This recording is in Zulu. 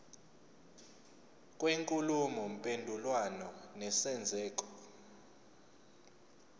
kwenkulumo mpendulwano nesenzeko